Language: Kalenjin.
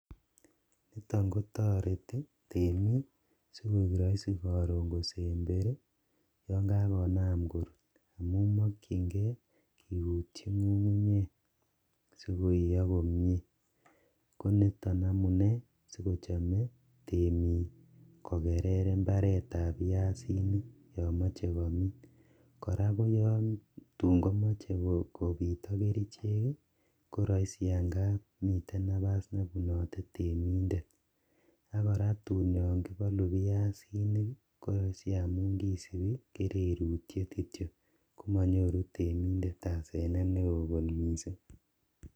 Tam kotoreti temik si koek raisi karon kosemberi yonkagonam kurut amun makyin nge kigutyi ngungunyek si koiyo komie ko nito amune sigochame temik kogerer imbaretab piasinik yon mache komin. Kora koyon tun komache kopit ak kerichek ii, ko raisi angap miten nabas nebunote temindet ak kora tun yon kibalu piasinik ko raisi amun kisupi kererutiet kityok, komanyoru temindet asenet neo kot mising